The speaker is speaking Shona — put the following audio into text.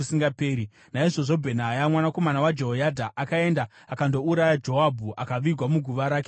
Naizvozvo Bhenaya mwanakomana waJehoyadha akaenda akandouraya Joabhu, akavigwa muguva rake murenje.